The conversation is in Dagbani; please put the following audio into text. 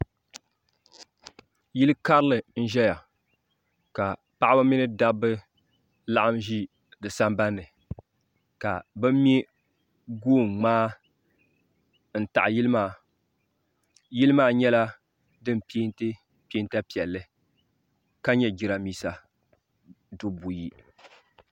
yili karili n ʒɛya ka paɣ' ba ni da ba laɣim ʒɛ di samibani ka be mɛ goigbai n taɣ' yili maa yili maa nyɛla din pɛntɛ pɛnta piɛli ka nyɛ jarinibɛsa dubu buyi